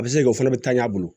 A bɛ se o fana bɛ taa ɲɛ a bolo